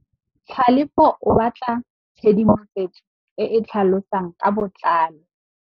Tlhalefô o batla tshedimosetsô e e tlhalosang ka botlalô.